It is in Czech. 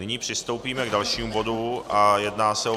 Nyní přistoupíme k dalšímu bodu a jedná se o